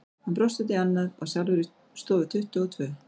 Hann brosti út í annað, var sjálfur í stofu tuttugu og tvö.